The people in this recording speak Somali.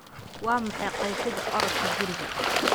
Waa maxay qeexida orodka guriga?